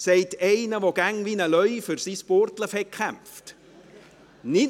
Das sagt einer, der immer wie ein Löwe für sein Burgdorf gekämpft hat!